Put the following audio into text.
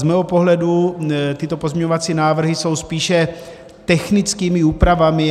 Z mého pohledu tyto pozměňovací návrhy jsou spíše technickými úpravami.